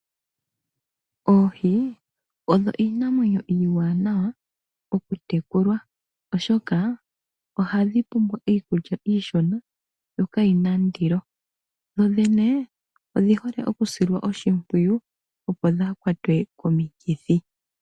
Oohi odho iinamwenyo iiwanawa okutekulwa. Ohadhi pumbwa iikulya iishona yo kayi na ondilo, dho dhene odhi hole okusilwa oshimpwiyu opo dhaakwatwe komikithi.